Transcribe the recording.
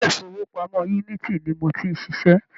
Ilé-ìfowópamọ́ Unity ni mo ti ń ṣiṣẹ́.